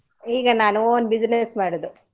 ಈಗ ನಾನು own business ಮಾಡುದು.